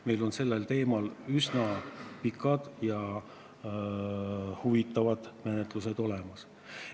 Meil on sellel teemal üsna pikad ja huvitavad menetlused seljataga.